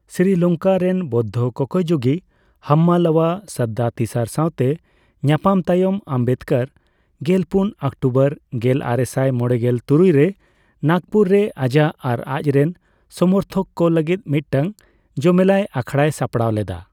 ᱥᱨᱤᱞᱚᱝᱠᱟ ᱨᱮᱱ ᱵᱳᱫᱽᱫᱷᱚ ᱠᱚᱠᱚᱭ ᱡᱩᱜᱤ ᱦᱟᱢᱢᱟᱞᱟᱣᱟ ᱥᱟᱫᱽᱫᱟᱛᱤᱥᱟᱨ ᱥᱟᱣᱛᱮ ᱧᱟᱯᱟᱢ ᱛᱟᱭᱚᱢ, ᱟᱢᱵᱮᱫᱽᱠᱚᱨ ᱜᱮᱞᱯᱩᱱ ᱚᱠᱴᱚᱵᱚᱨ ᱜᱮᱞᱟᱨᱮᱥᱟᱭ ᱢᱚᱲᱮᱜᱮᱞ ᱛᱩᱨᱩᱭ ᱨᱮ ᱱᱟᱜᱽᱯᱩᱨ ᱨᱮ ᱟᱡᱟᱜ ᱟᱨ ᱟᱡᱨᱮᱱ ᱥᱚᱢᱚᱨᱛᱷᱚᱠ ᱠᱚ ᱞᱟᱹᱜᱤᱫ ᱢᱤᱫᱴᱟᱝ ᱡᱚᱢᱮᱞᱟᱭ ᱟᱠᱷᱲᱟᱭ ᱥᱟᱯᱲᱟᱣ ᱞᱮᱫᱟ ᱾